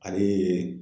Ale ye